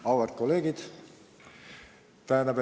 Auväärt kolleegid!